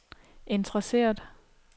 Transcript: interesseret